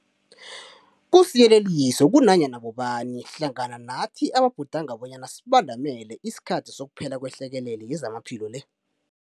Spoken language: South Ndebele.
Kusiyeleliso kunanyana bobani hlangana nathi ababhudanga bonyana sibandamele isikhathi sokuphela kwehlekelele yezamaphilo le.